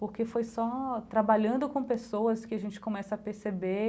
Porque foi só trabalhando com pessoas que a gente começa a perceber